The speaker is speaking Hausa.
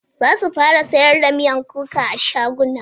Za su fara sayar da miyan kuka a shaguna.